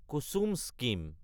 কুচুম scheme